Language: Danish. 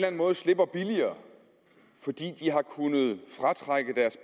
anden måde slipper billigere fordi de har kunnet fratrække deres